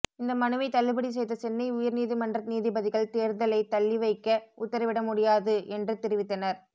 இந்த மனுவை தள்ளுபடி செய்த சென்னை உயர்நீதிமன்ற நீதிபதிகள் தேர்தலை தள்ளி வைக்க உத்தரவிட முடியாது என்று தெரிவித்தனர்